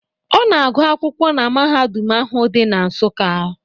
Ọ na-agụ akwụkwọ na mahadum ahụ dị na Nsuka.